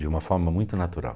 De uma forma muito natural.